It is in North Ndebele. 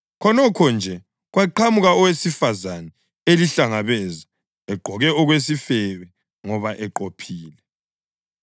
Khonokho nje kwaqhamuka owesifazane elihlangabeza egqoke okwesifebe ngoba eqophile.